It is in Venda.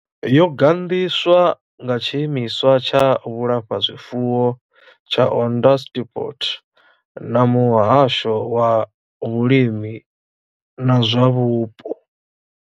Yo gandiswa nga tshiimiswa tsha vhulafhazwifuwo tsha Onderstepoort na muhasho wa vhulimi na zwa vhupo.